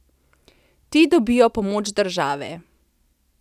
Ti dobijo pomoč države.